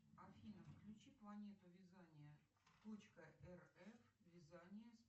афина включи планету вязания точка рф вязание